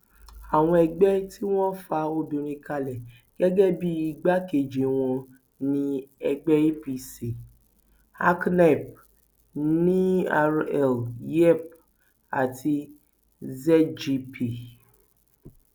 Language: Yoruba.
àwọn ẹgbẹ tí wọn fa obìnrin kalẹ gẹgẹ bíi igbákejì wọn ni ẹgbẹ apc aknnepp nrl yepp àti zgp